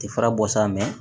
Ti fara bɔ sa